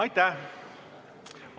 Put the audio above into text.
Aitäh!